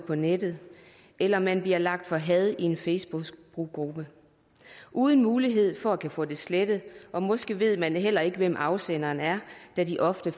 på nettet eller at man bliver lagt for had i en facebookgruppe uden mulighed for at kunne få det slettet og måske ved man heller ikke hvem afsenderen er da de ofte